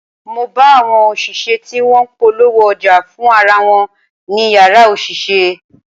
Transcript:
Mo bá àwọn òṣìṣẹ́ tí wọ́n ń polówó ọjà fún ara wọn ní Ìyàrá òṣìṣẹ́.